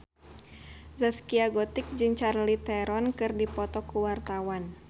Zaskia Gotik jeung Charlize Theron keur dipoto ku wartawan